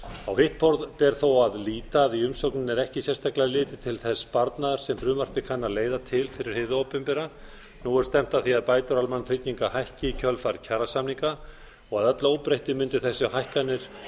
á hitt ber þó að líta að í umsögninni er ekki sérstaklega litið til þess sparnaðar sem frumvarpið kann að leiða til fyrir hið opinbera nú er stefnt að því að bæta úr almannatryggingar hækki í kjölfar kjarasamninga og að öllu óbreyttu mundu þessar hækkanir